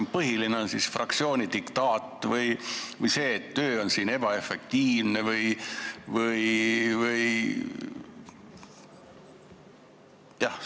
Kas põhiline on fraktsiooni diktaat või see, et töö on siin ebaefektiivne või mis?